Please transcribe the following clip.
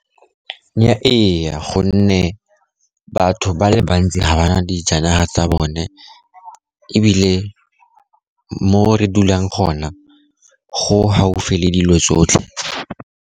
Ee, gonne batho ba le bantsi ga ba dijanaga tsa bone, ebile mo re dulang gona, go gaufi le dilo tsotlhe.